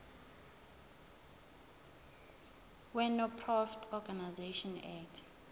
wenonprofit organisations act